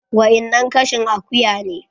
Wa innan kashin akuya ne